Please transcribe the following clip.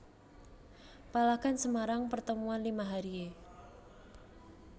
Palagan Semarang Pertempuran Lima Hari e